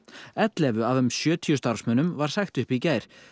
ellefu af um sjötíu starfsmönnum var sagt upp í gær